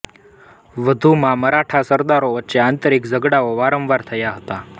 વધુમાં મરાઠા સરદારો વચ્ચે આંતરિક ઝઘડાઓ વારંવાર થતા હતા